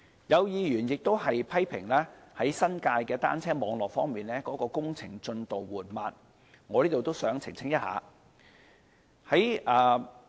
有議員批評新界的單車網絡的工程進度緩慢，我想在此澄清一下。